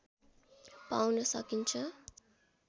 पाउन सकिन्छ